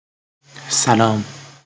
салам